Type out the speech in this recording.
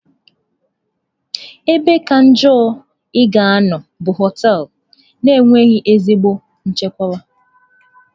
Ebe kacha njọ ị ga-anọ bụ họtelụ na-enweghị ezigbo nchekwa.